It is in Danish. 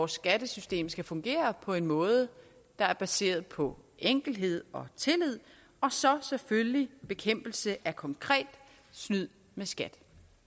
skattesystemet skal fungere på en måde der er baseret på enkelhed og tillid og så selvfølgelig bekæmpelse af konkret snyd med skat